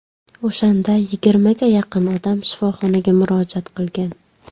O‘shanda yigirmaga yaqin odam shifoxonaga murojaat qilgan.